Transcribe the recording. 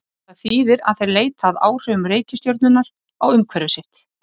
Það þýðir að þeir leita að áhrifum reikistjörnunnar á umhverfi sitt.